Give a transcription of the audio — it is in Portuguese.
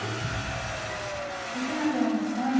E você ainda tem algum sonho?